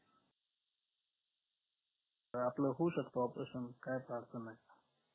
अं आपलं होऊ शकतो operation कायच अडचण नाय